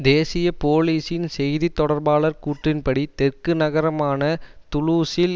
தேசிய போலீஸின் செய்தி தொடர்பாளர் கூற்றின் படி தெற்கு நகரமான துலூஸில்